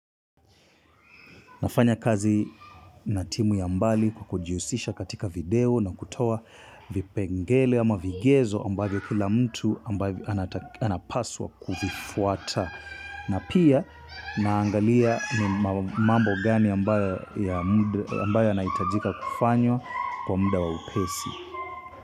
Nafanya kazi na timu ya mbali kukujihusisha katika video na kutoa vipengele ama vigezo ambavyo kila mtu ambavyo anapaswa kuvifuata. Na pia naangalia mambo gani ambayo yanaitajika kufanywa kwa muda wa upesi.